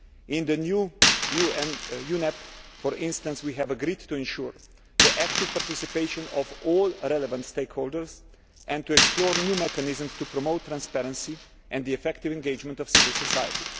In the new UNEP, for instance, we have agreed to ensure the active participation of all relevant stakeholders and to explore new mechanisms to promote transparency and the effective engagement of civil society.